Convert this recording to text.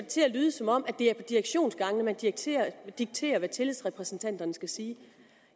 til at lyde som om at det er på direktionsgangene man dikterer dikterer hvad tillidsrepræsentanterne skal sige